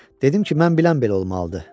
Dedim ki, mən bilən belə olmalıdı.